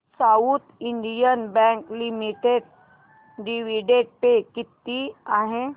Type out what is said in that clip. south Indian Bank Limited dividend pay किती आहे